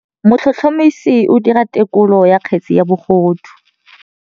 Motlhotlhomisi o dira têkolô ya kgetse ya bogodu.